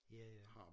Ja ja